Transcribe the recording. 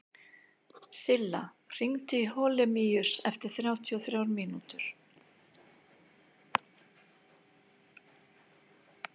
Silla, hringdu í Holemíus eftir þrjátíu og þrjár mínútur.